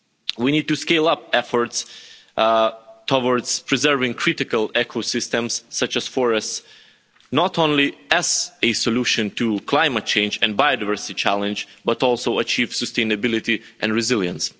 We need to scale up efforts towards preserving critical ecosystems such as forests, not only as a solution to climate change and biodiversity challenge, but also achieve sustainability and resilience.